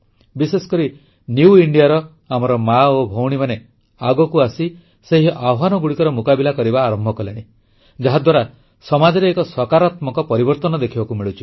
ବିଶେଷକରି ନ୍ୟୁ Indiaର ଆମର ମା ଓ ଭଉଣୀମାନେ ଆଗକୁ ଆସି ସେହି ଆହ୍ୱାନଗୁଡ଼ିକର ମୁକାବିଲା କରିବା ଆରମ୍ଭ କଲେଣି ଯାହାଦ୍ୱାରା ସମାଜରେ ଏକ ସକାରାତ୍ମକ ପରିବର୍ତ୍ତନ ଦେଖିବାକୁ ମିଳୁଛି